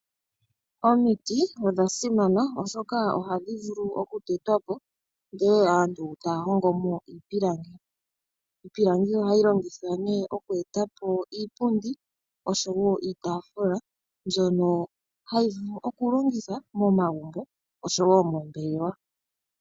Omiti odhasimana oshoka ohadhi vulu okutetwa po ndee aantu taya hongo mo iipilangi, iipilangi ohayi longithwa nee oku etapo iipundi oshowo iitaafula mbyono hayi vulu okulongithwa momagumbo oshowo moombelewa.